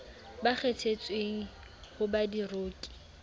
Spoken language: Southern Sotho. ba kgethetsweng ho ba diroki